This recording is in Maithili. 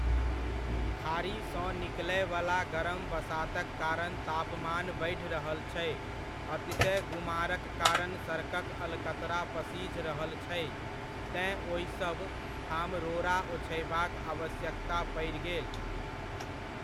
खाड़ी सँ निकलयवला गरम बसातक कारण तापमान बढि रहल छै, अतिशय गुमारक कारण सड़कक अलकतरा पसिझ रहल छै तेँ ओहिसभ ठाम रोड़ा ओछयबाक आवश्यकता पड़ि गेल।